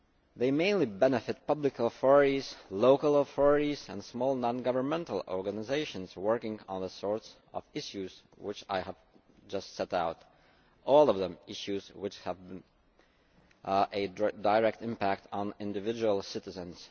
They mainly benefit public authorities, local authorities and small non governmental organisations working on issues of the kind which I have just set out, all of them issues which have a direct impact on individual citizens.